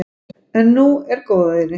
En nú er góðæri.